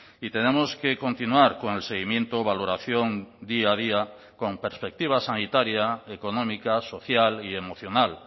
y tenemos que continuar con el seguimiento valoración día a día con perspectiva sanitaria económica social y emocional